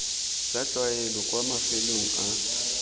tsa tlwaelo kwa mafelong a